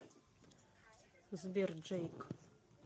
сбер джейк